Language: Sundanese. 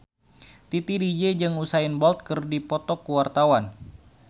Titi DJ jeung Usain Bolt keur dipoto ku wartawan